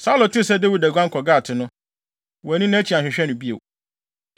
Saulo tee sɛ Dawid aguan kɔ Gat no, wanni nʼakyi anhwehwɛ no bio.